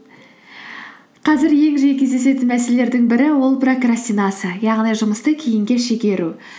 қазір ең жиі кездесетін мәселелердің бірі ол прокрастинация яғни жұмысты кейінге шегеру